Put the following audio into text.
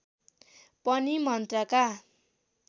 पनि मन्त्रका